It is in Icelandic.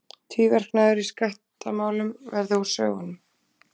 Tvíverknaður í skattamálum verði úr sögunni